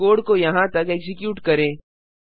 code को यहाँ तक एक्जीक्यूट करें